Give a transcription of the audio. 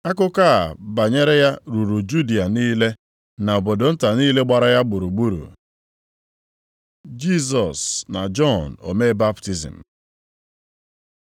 Akụkọ a banyere ya ruru Judịa niile na obodo nta niile gbara ya gburugburu. Jisọs na Jọn omee baptizim